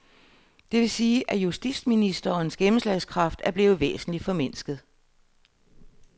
Det vil sige, at justitsministerens gennemslagskraft er blevet væsentligt formindsket.